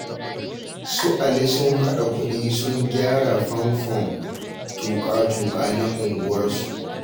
Su Ali sun haɗa kuɗi sun gyara famfon tuƙa-tuƙa na unguwarsu